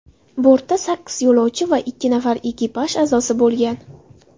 Bortda sakkiz yo‘lovchi va ikki nafar ekipaj a’zosi bo‘lgan.